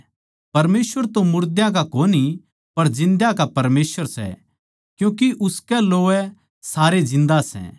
परमेसवर तो मुर्दा का कोनी पर जिन्दा का परमेसवर सै क्यूँके उसकै लोवै सारे जिन्दे सै